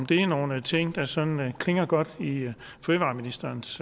det nogle ting som klinger godt i fødevareministerens